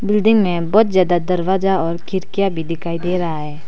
Building मे बहोत ज्यादा दरवाजा और खिड़कियां भी दिखाई दे रहा है।